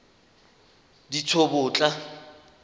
ditsobotla